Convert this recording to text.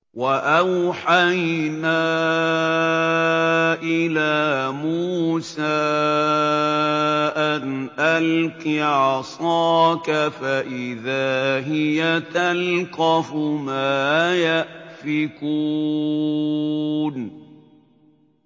۞ وَأَوْحَيْنَا إِلَىٰ مُوسَىٰ أَنْ أَلْقِ عَصَاكَ ۖ فَإِذَا هِيَ تَلْقَفُ مَا يَأْفِكُونَ